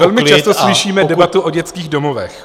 Velmi často slyšíme debatu o dětských domovech.